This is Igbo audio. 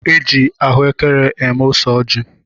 Eji ahụekere eme ose ọji